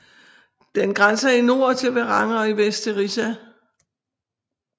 Den grænser i nord til Verran og i vest til Rissa